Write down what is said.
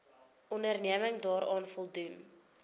onderneming daaraan voldoen